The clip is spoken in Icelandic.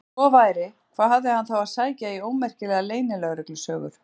Ef svo væri, hvað hafði hann þá að sækja í ómerkilegar leynilögreglusögur?